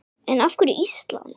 En af hverju Ísland?